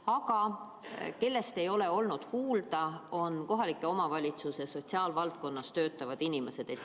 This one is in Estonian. Aga midagi pole kuulda olnud kohaliku omavalitsuse sotsiaalvaldkonnas töötavatest inimestest.